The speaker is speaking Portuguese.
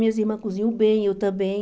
Minhas irmãs cozinham bem, eu também.